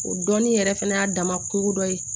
O dɔnni yɛrɛ fɛnɛ y'a dama kungo dɔ ye